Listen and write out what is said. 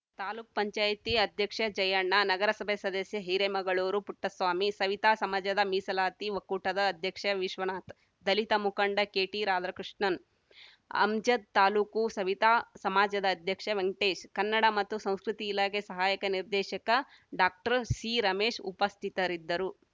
ತಾಲ್ಲುಕುಪಂಚಾಯತಿ ಅಧ್ಯಕ್ಷ ಜಯಣ್ಣ ನಗರಸಭೆ ಸದಸ್ಯ ಹಿರೇಮಗಳೂರು ಪುಟ್ಟಸ್ವಾಮಿ ಸವಿತಾ ಸಮಾಜದ ಮೀಸಲಾತಿ ಒಕ್ಕೂಟದ ಅಧ್ಯಕ್ಷ ವಿಶ್ವನಾಥ್‌ ದಲಿತ ಮುಖಂಡ ಕೆಟಿ ರಾಧಾಕೃಷ್ಣನ್ ಅಮ್ಜದ್‌ ತಾಲೂಕು ಸವಿತಾ ಸಮಾಜದ ಅಧ್ಯಕ್ಷ ವೆಂಕಟೇಶ್‌ ಕನ್ನಡ ಮತ್ತು ಸಂಸ್ಕೃತಿ ಇಲಾಖೆ ಸಹಾಯಕ ನಿರ್ದೇಶಕ ಡಾಕ್ಟರ್ ಸಿರಮೇಶ್‌ ಉಪಸ್ಥಿತರಿದ್ದರು